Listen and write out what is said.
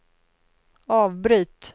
avbryt